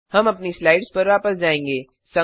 हम अपनी स्लाइड्स पर वापस जाएँगे